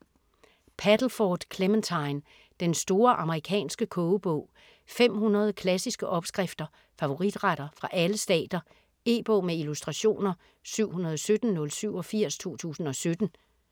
Paddleford, Clementine: Den store amerikanske kogebog 500 klassiske opskrifter - favoritretter fra alle stater. E-bog med illustrationer 717087 2017.